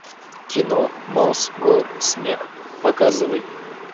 кино мосгорсмех показывай